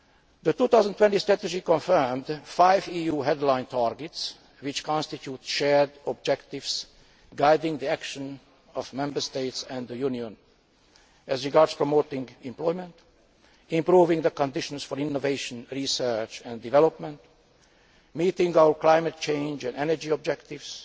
The 2020 Strategy confirmed five EU headline targets which constitute shared objectives guiding the action of Member States and the Union as regards promoting employment, improving the conditions for innovation, research and development, meeting our climate change and energy objectives,